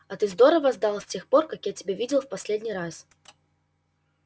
а ты здорово сдал с тех пор как я тебя видел в последний раз